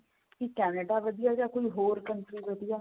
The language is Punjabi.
ਕੀ Canada ਵਧੀਆ ਕੀ ਕੋਈ ਹੋਰ country ਵਧੀਆ